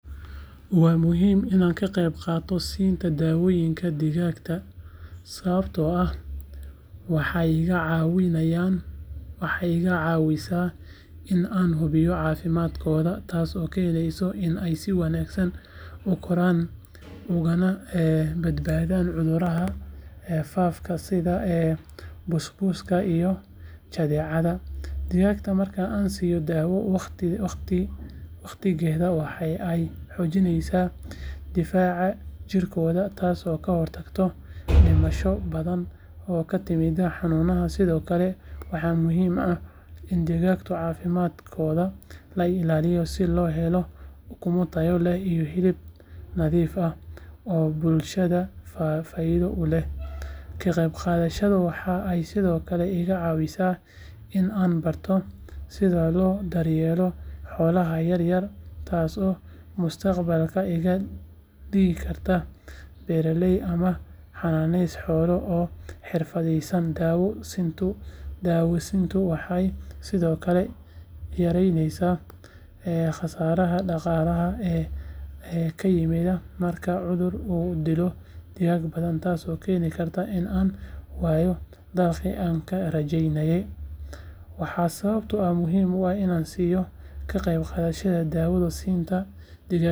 Waa muhiim in aan ka qayb qaato siinta daawooyinka digaagga sababtoo ah waxay iga caawinaysaa in aan hubiyo caafimaadkooda taasoo keenaysa in ay si wanaagsan u koraan ugana badbaadaan cudurrada faafa sida busbuska iyo jadeecada digaagga marka aan siiyo daawo waqtigeeda waxa ay xoojinaysaa difaaca jidhkooda taasoo ka hortagta dhimasho badan oo ka timaada xanuunada sidoo kale waxaa muhiim ah in digaagga caafimaadkooda la ilaaliyo si loo helo ukumo tayo leh iyo hilib nadiif ah oo bulshada faa’iido u leh ka qayb qaadashadeyda waxa ay sidoo kale iga caawisaa in aan barto sida loo daryeelo xoolaha yaryar taasoo mustaqbalka iga dhigi karta beeraley ama xanaanayste xoolo oo xirfadaysan daawo siintu waxay sidoo kale yareysaa khasaaraha dhaqaalaha ee ka yimaada marka cudur uu dilo digaag badan taasoo keeni karta in aan waayo dakhligii aan ka rajeynayay waana sababta aan muhiimad u siinayo ka qaybgalka daawo siinta digaagga..